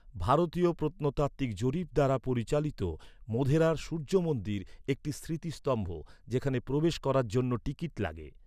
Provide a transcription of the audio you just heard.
ভারতীয় প্রত্নতাত্ত্বিক জরিপ দ্বারা পরিচালিত মোধেরার সূর্য মন্দির একটি স্মৃতিস্তম্ভ, যেখানে প্রবেশ করার জন্য টিকিট লাগে।